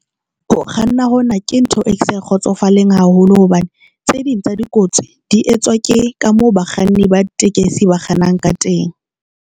Ho kganna hona ke ntho e ke sa kgotsofaleng haholo hobane tse ding tsa dikotsi di etswa ke ka mo bakganni ba ditekesi ba kgannang ka teng.